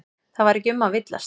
Það var ekki um að villast.